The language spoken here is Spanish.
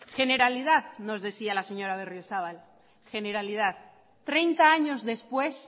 generalidad nos decía la señora berriozabal generalidad treinta años después